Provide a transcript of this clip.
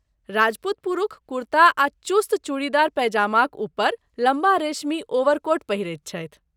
राजपूत पुरूष कुर्ता आ चुस्त चुड़ीदार पैजामाक ऊपर लम्बा रेशमी ओवरकोट पहिरैत छथि।